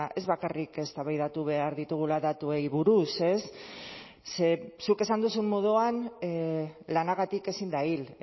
ez bakarrik eztabaidatu behar ditugula datuei buruz ez zuk esan duzun moduan lanagatik ezin da hil